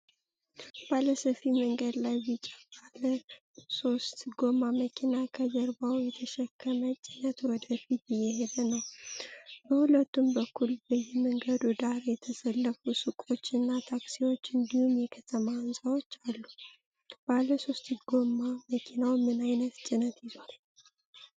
ባለ ሰፊ መንገድ ላይ ቢጫ ባለሶስት ጎማ መኪና ከጀርባው በተሸከመ ጭነት ወደ ፊት እየሄደ ነው። በሁለቱም በኩል በየመንገዱ ዳር የተሰለፉ ሱቆች እና ታክሲዎች፣ እንዲሁም የከተማ ሕንፃዎች አሉ። ባለሶስት ጎማ መኪናው ምን ዓይነት ጭነት ይዟል?